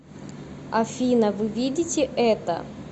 афина вы видите это